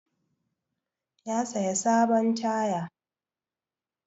Ya saya sabon taya.